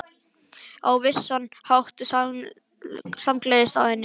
Og á vissan hátt samgleðst ég henni.